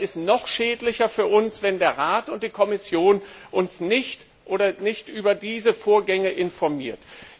Aber es ist noch schädlicher für uns, wenn der Rat und die Kommission uns nicht über diese Vorgänge informieren.